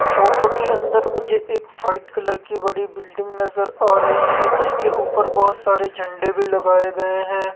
Photo के अंदर मुझे एक वाइट कलर की बड़ी बिल्डिंग नजर आ रही है जिसके ऊपर बहोत सारे झंडे भी लगाए गए हैं।